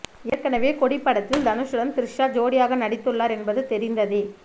ஏற்கனவே கொடி படத்தில் தனுசுடன் த்ரிஷா ஜோடியாக நடித்துள்ளார் என்பது தெரிந்ததே